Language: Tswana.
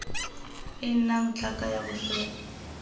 e nnang tlhaka ya bofelo